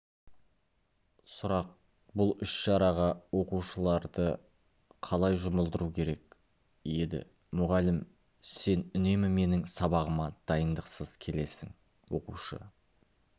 сұрақ бұл іс-шараға оқушыларды қалай жұмылдыру керек еді мұғалім сен үнемі менің сабағыма дайындықсыз келесің оқушы